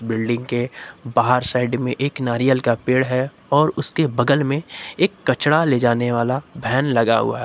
Building के बाहर side में एक नारियल का पेड़ है और उसके बगल में एक कचड़ा ले जाने वाला वैन लगा हुआ है।